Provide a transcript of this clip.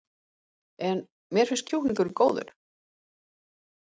En: Mér finnst kjúklingurinn góður?